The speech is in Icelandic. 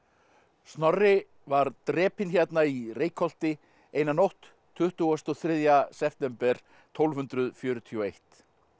Snorri var drepinn hérna í Reykholti eina nótt tuttugasta og þriðja september tólf hundruð fjörutíu og eitt